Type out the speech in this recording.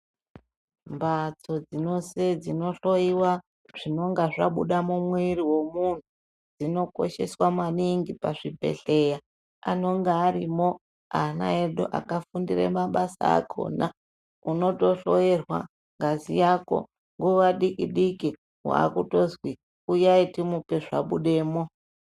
Mbatso dzinose dzinohloiwa zvinonga zvabuda mumwiiri womunhu,, dzinokosheswa maningi pazvibhedhleya. Anonga arimo ana edu akafundire mabasa akhona. Unotohloerwa ngazi yako, nguva diki-diki waakutozwi uyai timupe zvabudemo.